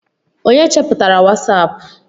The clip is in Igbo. onye cheputara wasapu?